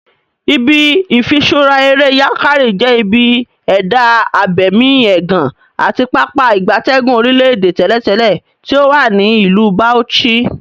Ibi ifiṣura ere Yankari je ibi eda abemi egan ati Pápá ìgbatẹ́gùn orile-ede teletele ti owa ni Ilu Bauchi.